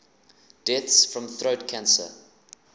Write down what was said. deaths from throat cancer